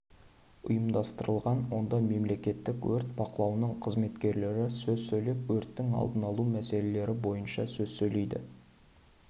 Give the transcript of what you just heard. ұйымдастырылған онда мемлекеттік өрт бақылауының қызметкерлері сөз сөйлеп өрттің алдын алу мәселелері бойынша сөз сөйлейді